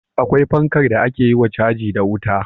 Akwai fankar da ake yiwa caji da wuta